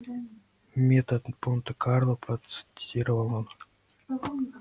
метод монте-карло процитировал он